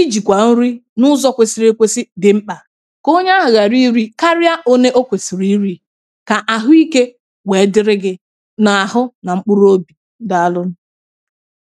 ijìkwà nri n’ụzọ̇ kwesiri ekwesi dị̀ mkpà kà onye ahụ̀ ghàra iri, karịa òne okwèsìrì iri̇ kà àhụ ikė wèe dịrị gi̇ n’àhụ nà mkpụrụ obì dàalụ